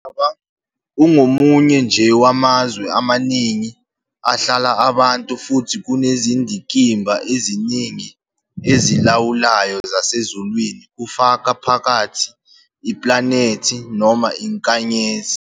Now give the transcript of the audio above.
Umhlaba ungomunye nje wamazwe amaningi ahlala abantu, futhi kunezindikimba eziningi ezilawulayo zasezulwini, kufaka phakathi iplanethi noma inkanyezi